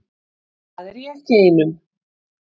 Það er ég ekki ein um.